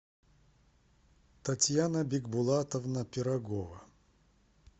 татьяна бекбулатовна пирогова